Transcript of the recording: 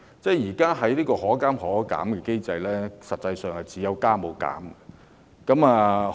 在現行的可加可減機制下，票價實際上是有加無減。